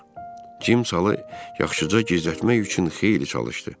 Cim salı yaxşıca gizlətmək üçün xeyli çalışdı.